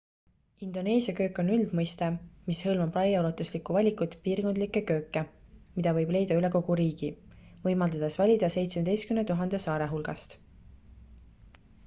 indoneesia köök on üldmõiste mis hõlmab laiaulatuslikku valikut piirkondlikke kööke mida võib leida üle kogu riigi võimaldades valida 17 000 saare hulgast